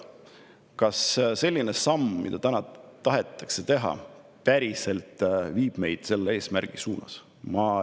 Kas see samm, mida täna tahetakse teha, viib meid päriselt selle eesmärgi suunas?